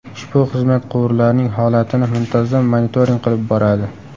Ushbu xizmat quvurlarning holatini muntazam monitoring qilib boradi.